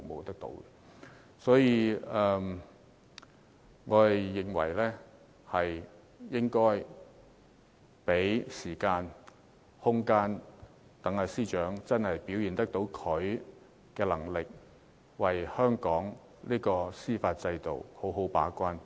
因此，我們應該給司長時間和空間，讓她表現她的能力，為香港司法制度好好把關。